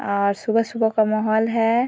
अ सुबह-सुबह का माहौल है।